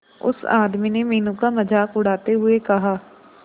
उस आदमी ने मीनू का मजाक उड़ाते हुए कहा